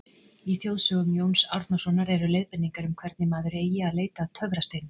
Í þjóðsögum Jóns Árnasonar eru leiðbeiningar um hvernig maður eigi að leita að töfrasteinum.